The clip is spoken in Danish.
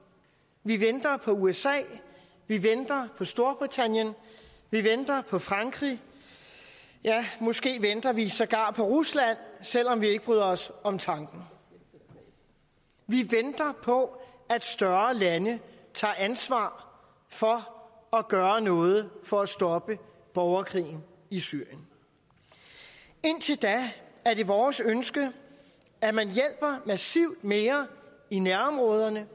vi venter på usa vi venter på storbritannien vi venter på frankrig ja måske venter vi sågar på rusland selv om vi ikke bryder os om tanken vi venter på at større lande tager ansvar for at gøre noget for at stoppe borgerkrigen i syrien indtil da er det vores ønske at man hjælper massivt mere i nærområderne